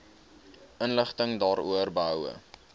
inligting daaroor behoue